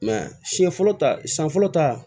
siɲɛ fɔlɔ ta siɲɛ fɔlɔ ta